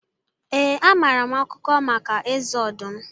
Ee, amaara m akụkọ maka Eze ọdụm.